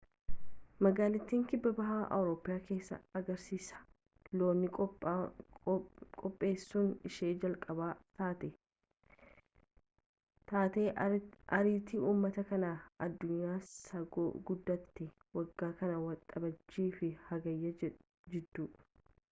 magaalittiin kibbabaha awurooppaa keessaa agarsiisa loonii qopheesuun ishee jalqabaa taati taatee aartii uummataa kan addunyaa isa guddaati waggaa kana waxabajjii fi hagayya jidduu